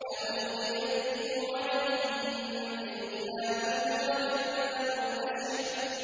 أَأُلْقِيَ الذِّكْرُ عَلَيْهِ مِن بَيْنِنَا بَلْ هُوَ كَذَّابٌ أَشِرٌ